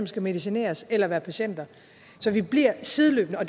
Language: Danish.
skal medicineres eller være patienter så vi bliver sideløbende og